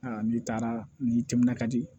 n'i taara n'i timinan ka di